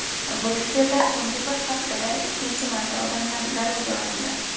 Bryusselda so‘nggi bir haftada ikkinchi marta odamlar garovga olindi.